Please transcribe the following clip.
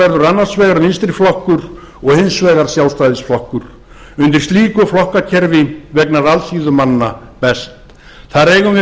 verður annars vegar vinstri flokkur og hins vegar sjálfstæðisflokkur undir slíku flokkakerfi vegnar alþýðu manna best þar eigum við